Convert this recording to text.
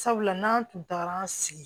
Sabula n'an tun tagara an sigi